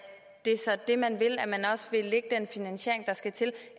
det så er det man vil og at man også vil lægge den finansiering frem der skal til